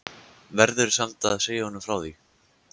Verður samt að segja honum frá því.